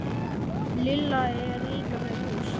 Lilla er líka með lús.